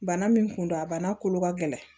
Bana min kun don a bana kolo ka gɛlɛn